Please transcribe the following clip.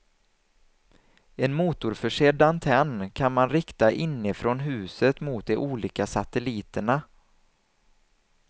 En motorförsedd antenn kan man rikta inifrån huset mot de olika satelliterna.